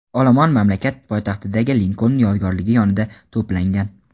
olomon mamlakat poytaxtidagi Linkoln yodgorligi yonida to‘plangan.